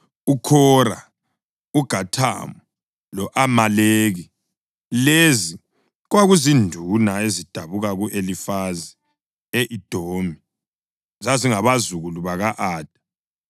uKhora, uGathamu, lo-Amaleki. Lezi kwakuzinduna ezidabuka ku-Elifazi, e-Edomi; zazingabazukulu baka-Ada.